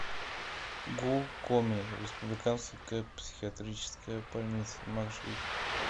гу коми республиканская психиатрическая больница маршрут